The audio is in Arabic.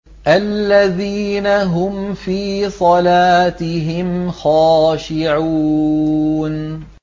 الَّذِينَ هُمْ فِي صَلَاتِهِمْ خَاشِعُونَ